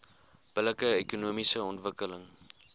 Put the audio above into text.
billike ekonomiese ontwikkeling